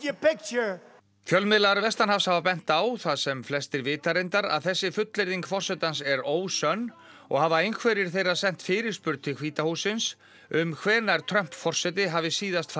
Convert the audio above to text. fjölmiðlar vestanhafs hafa bent á það sem flestir vita reyndar að þessi fullyrðing forsetans er ósönn og hafa einhverjir þeirra sent fyrirspurn til hvíta hússins um hvenær Trump forseti hafi síðast farið í búð sjálfur